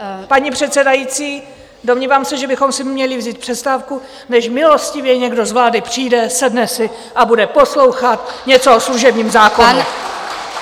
Paní předsedající, domnívám se, že bychom si měli vzít přestávku, než milostivě někdo z vlády přijde, sedne si a bude poslouchat něco o služebním zákoně!